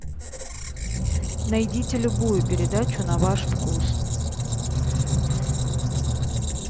найдите любую передачу на ваш вкус